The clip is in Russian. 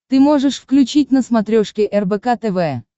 ты можешь включить на смотрешке рбк тв